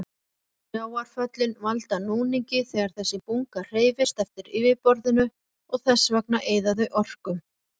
Sjávarföllin valda núningi þegar þessi bunga hreyfist eftir yfirborðinu og þess vegna eyða þau orku.